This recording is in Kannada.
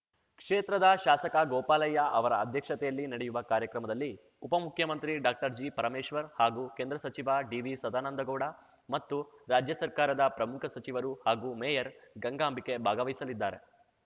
ಕ್ಷೇತ್ರದ ಶಾಸಕ ಗೋಪಾಲಯ್ಯ ಅವರ ಅಧ್ಯಕ್ಷತೆಯಲ್ಲಿ ನಡೆಯುವ ಕಾರ್ಯಕ್ರಮದಲ್ಲಿ ಉಪಮುಖ್ಯಮಂತ್ರಿ ಡಾಕ್ಟರ್ಜಿಪರಮೇಶ್ವರ್‌ ಹಾಗೂ ಕೇಂದ್ರ ಸಚಿವ ಡಿವಿಸದಾನಂದಗೌಡ ಮತ್ತು ರಾಜ್ಯ ಸರ್ಕಾರದ ಪ್ರಮುಖ ಸಚಿವರು ಹಾಗೂ ಮೇಯರ್‌ ಗಂಗಾಂಬಿಕೆ ಭಾಗವಹಿಸಲಿದ್ದಾರೆ